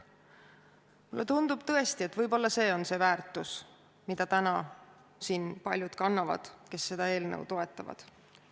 Mulle tundub tõesti, et võib-olla see on see väärtus, mida kannavad täna siin paljud, kes seda eelnõu toetavad.